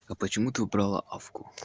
а почему ты убрала авку